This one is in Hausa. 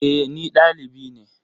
E, ni valibi ne.